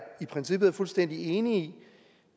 i princippet er fuldstændig enig